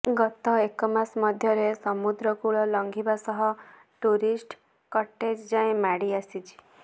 ଗତ ଏକମାସ ମଧ୍ୟରେ ସମୁଦ୍ର କୂଳ ଲଂଘିବା ସହ ଟୁରିଷ୍ଟ କଟେଜ ଯାଏଁ ମାଡିଆସିଛି